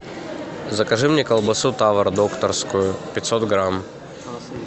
закажи мне колбасу тавр докторскую пятьсот грамм